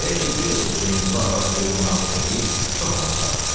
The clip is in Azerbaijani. Belə ki, bir dəfə Hüseynqulu ağa böyük qonaqlıq eləyib çox adam çağırmışdı.